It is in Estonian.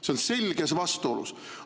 See on selges vastuolus.